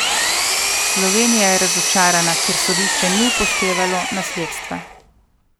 Slovenija je razočarana, ker sodišče ni upoštevalo nasledstva.